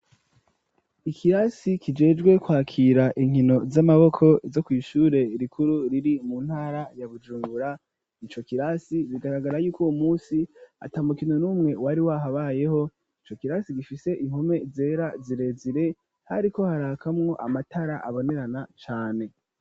Ikirasi kijejwe kwakira inkino z'amaboko zo kw'shure rikuru riri mu ntara ya Bujumbura ico kirasi bigaragara yuko uwo musi atamukino numwe wari wahabayeho ico kirasi gifise impome zera zirezire hariko harakamwo amatara abonerana cane.